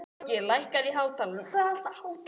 Loki, lækkaðu í hátalaranum.